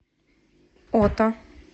ота